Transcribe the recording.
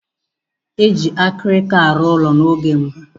Eji akirika aru ụlọ na oge mbụ.